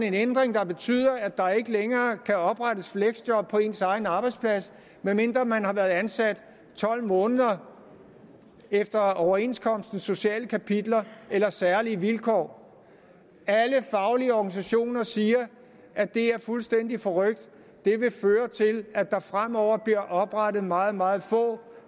en ændring der betyder at der ikke længere kan oprettes fleksjob på ens egen arbejdsplads medmindre man har været ansat i tolv måneder efter overenskomstens sociale kapitler eller særlige vilkår alle faglige organisationer siger at det er fuldstændig forrykt det vil føre til at der fremover bliver oprettet meget meget få